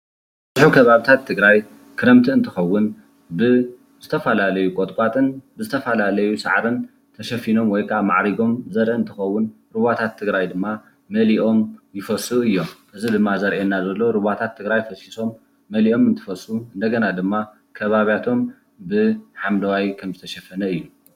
ኣብ ከባብታት ትግራይ ክረምቲ እንትኸዉን ብዝተፈላለዩ ቆጥቋጥን ዝተፈላለዩ ሳዕርን ተሸፊኖም ወይ ክዓ ማዕሪጎም ዘርኢ እንትኸዉን ሩዋታት ትግራይ ድማ መሊኦም ይፈሱ እዮም። እዚ ድማ ዘርእየና ዘሎ ሩባታት ትግራይ ፈሲሶም መሊኦም እንትፈሱ እንደገና ድማ ከባብያቶም ብሓምለዋይ ከምዝተሸፈነ እዩ።